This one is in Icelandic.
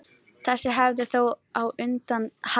Þessi hefð er þó á undanhaldi.